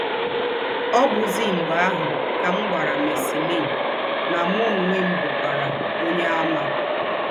Ọ̀ bụ̀zì mḡbè àhụ̀ kà m gwàrà Marceline nà mụ ǒnwé m bụ̀kwara Onyeàmà.